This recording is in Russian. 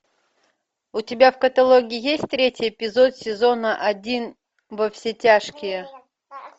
у тебя в каталоге есть третий эпизод сезона один во все тяжкие